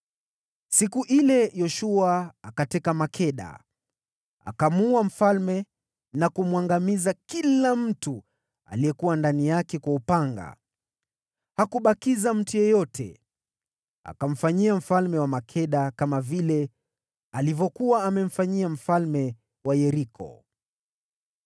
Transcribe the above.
Siku ile Yoshua akateka Makeda. Akamuua kila mmoja katika ule mji, pamoja na mfalme wake kwa upanga. Hakubakiza mtu yeyote. Akamfanyia mfalme wa Makeda kama vile alivyokuwa amemfanyia mfalme wa Yeriko.